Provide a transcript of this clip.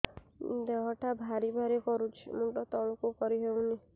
ଦେହଟା ଭାରି ଭାରି କରୁଛି ମୁଣ୍ଡ ତଳକୁ କରି ହେଉନି